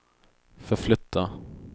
förflytta